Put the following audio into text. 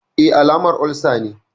E, alamar olsa ne.